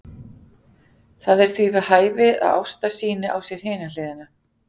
Það er því við hæfi að Ásta sýni á sér hina hliðina.